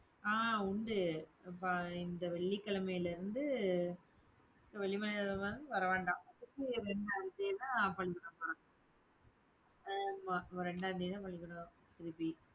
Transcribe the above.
ஆஹ் உண்டு. அப்ப இந்த வெள்ளிக்கிழமையில இருந்து வர வேண்டாம் ரெண்டாம் தேதி தான் பள்ளிக்கூடம் போறான் ஆமா ரெண்டா தேதி தான் பள்ளிக்கூடம் திருப்பி